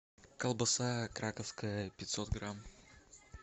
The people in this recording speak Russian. колбаса краковская пятьсот грамм